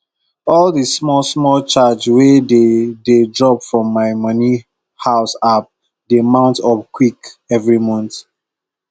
all the smallsmall charge wey dey dey drop from my money house app dey mount up quick every month